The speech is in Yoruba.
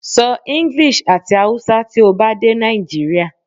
Sọ English ati Hausa ti o ba de Nigeria